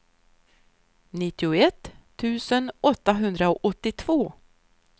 nittioett tusen åttahundraåttiotvå